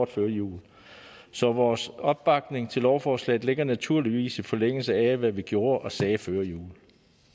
før jul så vores opbakning til lovforslaget ligger naturligvis i forlængelse af hvad vi gjorde og sagde før jul